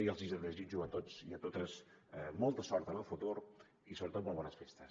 i els desitjo a tots i a totes molta sort en el futur i sobretot molt bones festes